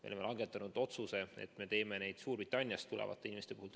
Me oleme langetanud otsuse, et me teeme neid Suurbritanniast tulevate inimeste puhul.